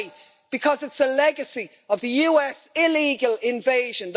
Why? Because it's a legacy of the US illegal invasion